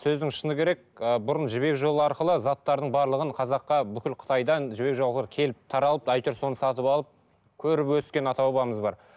сөздің шыны керек ы бұрын жібек жолы арқылы заттардың барлығын қазаққа бүкіл қытайдан жібек жолға келіп таралып әйтеуір соны сатып алып көріп өскен ата бабамыз бар